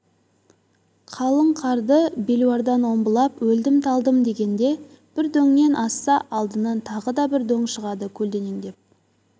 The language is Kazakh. қалың қарды белуардан омбылап өлдім-талдым дегенде бір дөңнен асса алдынан тағы да бір дөң шығады көлденеңдеп